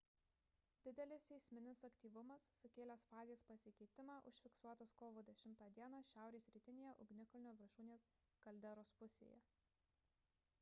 didelis seisminis aktyvumas sukėlęs fazės pasikeitimą užfiksuotas kovo 10 d šiaurės rytinėje ugnikalnio viršūnės kalderos pusėje